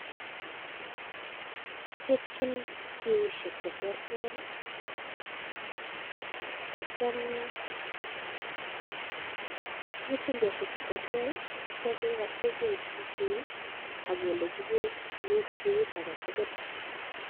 Kiribchin biyoshek cheterter akitio kechengyi beek biut aketukul.